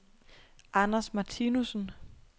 Anders Martinussen